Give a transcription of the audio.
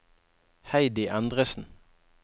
Heidi Endresen